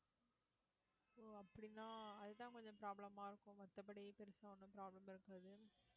so அப்படின்னா அதுதான் கொஞ்சம் problem ஆ இருக்கும் மத்தபடி பெருசா ஒண்ணும் problem இருக்காது